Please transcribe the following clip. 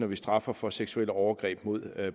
vi straffer for seksuelle overgreb mod